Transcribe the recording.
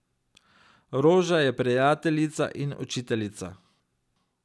Roža je prijateljica in učiteljica.